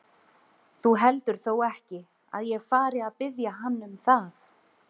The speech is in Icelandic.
Þú heldur þó ekki, að ég fari að biðja hann um það?